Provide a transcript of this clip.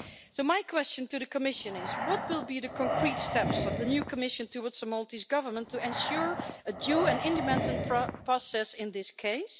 So my question to the Commission is what will be the concrete steps of the new Commission towards the Maltese Government to ensure a due and independent process in this case?